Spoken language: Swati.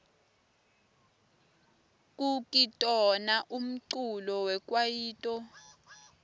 kukitona umculo wekwaito